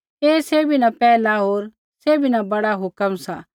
ऐ सैभी न पैहला होर सैभी न बड़ा हुक्म सा